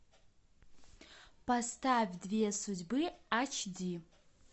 поставь две судьбы ач ди